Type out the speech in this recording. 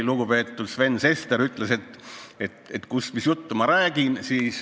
Lugupeetud Sven Sester küsis, mis juttu ma räägin.